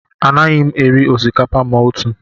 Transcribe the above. Anaghị m erizi osikapa ma otu